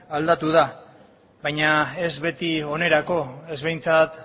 aldatu da baina ez beti onerako ez behintzat